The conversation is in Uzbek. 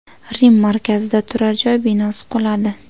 Rim markazida turar joy binosi quladi .